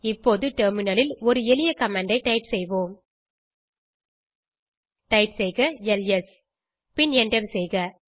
இப்போது டெர்மினல் ல் ஒரு எளிய கமாண்ட் ஐ டைப் செய்வோம் டைப் செய்க எல்எஸ் பின் எண்டர் செய்க